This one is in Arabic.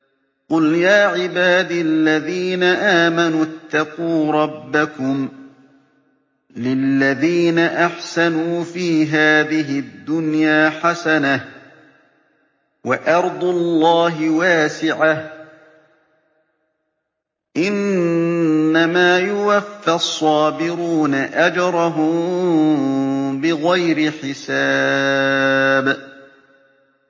قُلْ يَا عِبَادِ الَّذِينَ آمَنُوا اتَّقُوا رَبَّكُمْ ۚ لِلَّذِينَ أَحْسَنُوا فِي هَٰذِهِ الدُّنْيَا حَسَنَةٌ ۗ وَأَرْضُ اللَّهِ وَاسِعَةٌ ۗ إِنَّمَا يُوَفَّى الصَّابِرُونَ أَجْرَهُم بِغَيْرِ حِسَابٍ